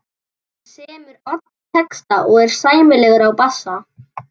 Hann semur alla texta og er sæmilegur á bassa.